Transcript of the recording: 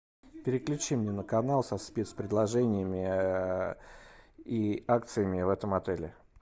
переключи мне на канал со спец предложениями и акциями в этом отеле